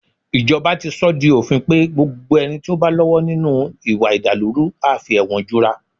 Ìjọba ti sọ ọ́ di òfin pé gbogbo ẹni tó bá lọ́wọ́ nínú ìwà ìdàlúrú a fi ẹ̀wọ̀n jura